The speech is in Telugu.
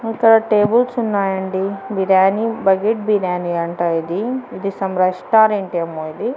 ఇక్కడ టేబుల్స్ ఉన్నాయండి బిర్యానీ బకెట్ బిర్యానీ అంట ఇది ఇది సమ్ రెస్టారెంట్ ఏమో ఇది.